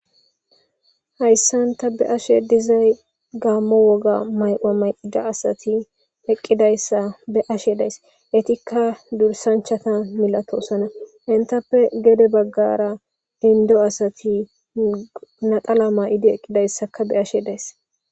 hayssanta be ashe dizay gaammo woga mayqoa mayqida asati eqqidayssa be ashe days etikka dursanchata milatoosana intappe gede baggara indo asati naqala may7idi eqqidayssaka be ashe days